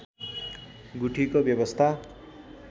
गुठीको व्यवस्था